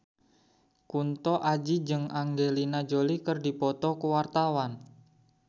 Kunto Aji jeung Angelina Jolie keur dipoto ku wartawan